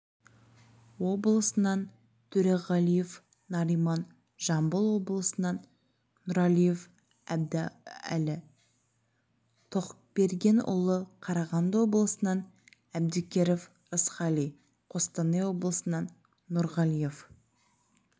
облысынан төреғалиев нариман жамбыл облысынан нұрәлиев әбдәлі тоқбергенұлы қарағанды облысынан әбдікеров рысқали қостанай облысынан нұрғалиев